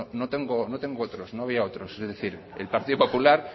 no tengo otros no había otros es decir el partido popular